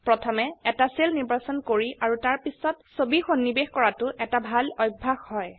প্ৰথমে এটা সেল নিৰ্বাচন কৰি আৰু তাৰপিছত ছবি সন্নিবেশ কৰাতো এটা ভাল অভয়াস হয়